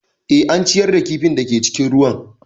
Eh, an ciyar da kifin da ke cikin ruwan